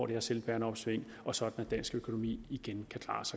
her selvbærende opsving og sådan at dansk økonomi igen